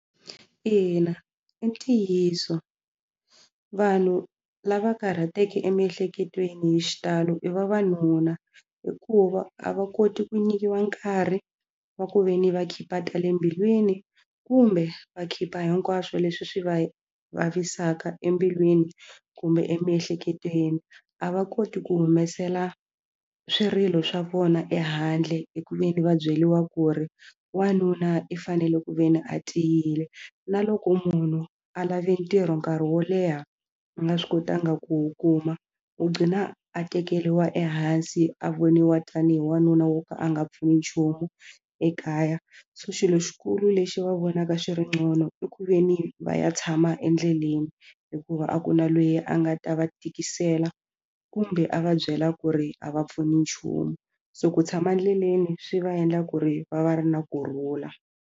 Ina, i ntiyiso vanhu lava karhateke emiehleketweni hi xitalo i vavanuna hikuva a va koti ku nyikiwa nkarhi wa ku ve ni va khipha tale mbilwini kumbe va khipha hinkwaswo leswi swi va vavisaka embilwini kumbe emiehleketweni a va koti ku humesela swirilo swa vona ehandle hi ku ve ni va byeriwa ku ri wanuna i fanele ku ve ni a tiyile na loko munhu a lave ntirho nkarhi wo leha u nga swi kotanga ku wu kuma u gqina a tekeriwa ehansi a voniwa tanihi wanuna wo ka a nga pfuni nchumu ekaya so xilo xikulu lexi va vonaka xi ri i ku ve ni va ya tshama endleleni hikuva a ku na lweyi a nga ta va tikisela kumbe a va byela ku ri a va pfuni nchumu so ku tshama endleleni swi va endla ku ri va va ri na kurhula.